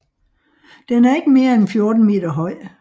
Den er ikke mere end 14 meter høj